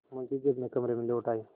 मुंशी जी अपने कमरे में लौट आये